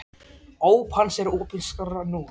Óp hans er opin skárra nú.